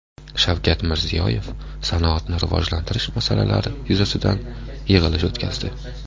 Shavkat Mirziyoyev sanoatni rivojlantirish masalalari yuzasidan yig‘ilish o‘tkazdi.